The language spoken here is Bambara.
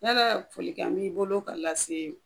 Lalaa folikan b'i bolo k'a lasee